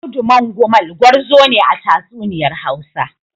Audu Mangumal gwarzo ne a tatsuniyar Hausa.